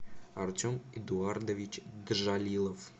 артем эдуардович гжалилов